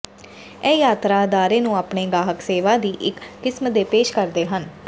ਇਹ ਯਾਤਰਾ ਅਦਾਰੇ ਨੂੰ ਆਪਣੇ ਗਾਹਕ ਸੇਵਾ ਦੀ ਇੱਕ ਕਿਸਮ ਦੇ ਪੇਸ਼ ਕਰਦੇ ਹਨ